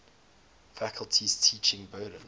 faculty's teaching burden